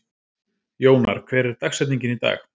Jónar, hver er dagsetningin í dag?